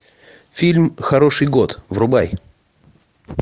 фильм хороший год врубай